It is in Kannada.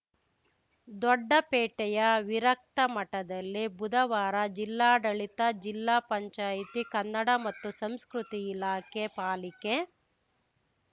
ದೊಡ್ಡಪೇಟೆಯ ವಿರಕ್ತಮಠದಲ್ಲಿ ಬುಧವಾರ ಜಿಲ್ಲಾಡಳಿತ ಜಿಲ್ಲಾ ಪಂಚಾಯತಿ ಕನ್ನಡ ಮತ್ತು ಸಂಸ್ಕೃತಿ ಇಲಾಖೆ ಪಾಲಿಕೆ